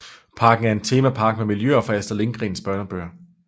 Parken er en temapark med miljøer fra Astrid Lindgrens børnebøger